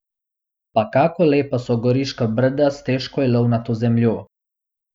Pa kako lepa so Goriška brda s težko ilovnato zemljo!